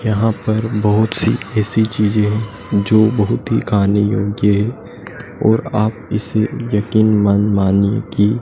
यहां पर बहुत सी ऐसी चीजें हैं जो बहुत ही खाने योग्य है और आप इसे यकीन मन मानिये की--